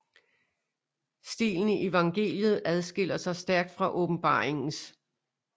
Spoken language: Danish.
Stilen i evangeliet adskiller sig stærkt fra åbenbaringens